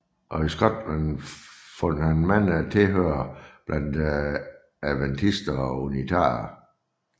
Og i Skotland fandt han mange tilhørere blandt adventister og unitarer